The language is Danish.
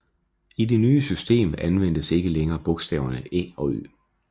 I det nye system anvendtes ikke længere bogstaverne Æ og Ø